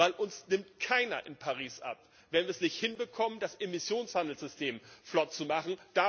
Denn es nimmt uns keiner in Paris ab, wenn wir es nicht hinbekommen, das Emissionshandelssystem flott zu machen.